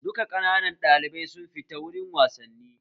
Duka ƙananan ɗalibai su fita gurin wasanni!